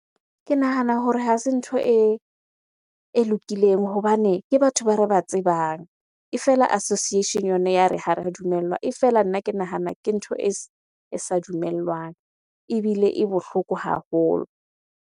Ke nahana hore ha se ntho e lokileng hobane ke batho ba re ba tsebang. E fela association-e yona ya re ha ra dumellwa. E fela, nna ke nahana ke ntho e sa dumellwang ebile e bohloko haholo.